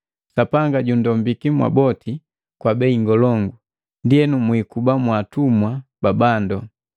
Sapanga jundombiki mwaboti kwa bei ngolongu, ndienu mwikuba mwaatumwa ba bandu.